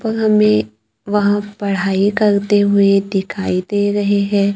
और हमें वहां पढ़ाई करते हुए दिखाई दे रहे हैं।